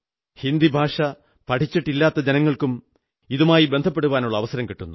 ഹിന്ദി ഭാഷ പ്രചരിച്ചിട്ടില്ലാത്തിടത്തുള്ള ജനങ്ങൾക്കും ഇതുമായി ബന്ധപ്പെടുവാനുള്ള അവസരം കിട്ടുന്നു